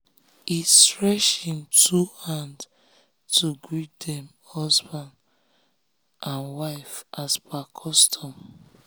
he stretch him two hand to greet dem husband dem husband and wife as per custom.